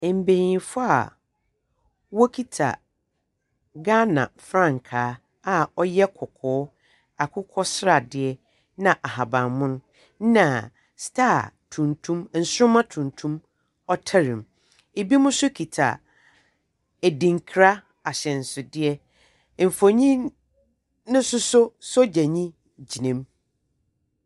Mbenyinfoɔ a ɔkita Ghana frankaa a ɔyɛ kɔkɔɔ, akokɔ sradeɛ na ahaban mon na star tuntum nsoroma tuntum ɔtare mu. ebinom nso kita adinkra ahyɛnsodeɛ. Nfoni ne nsoso sogyanii gyina mu.